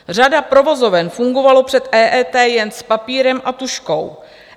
Řada provozoven fungovala před EET jen s papírem a tužkou.